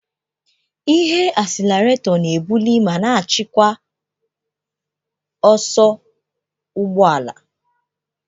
Ihe asilerato na-ebuli ma na-achịkwa ọsọ ụgbọ ala.